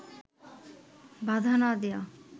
বাধা না দেওয়া